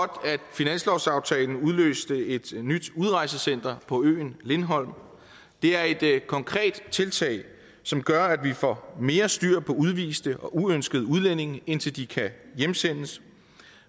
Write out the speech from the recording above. finanslovsaftalen udløste et nyt udrejsecenter på øen lindholm det er et konkret tiltag som gør at vi får mere styr på udviste og uønskede udlændinge indtil de kan hjemsendes